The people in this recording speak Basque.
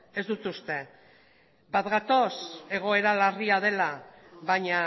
ez dut uste bat gatoz egoera larria dela baina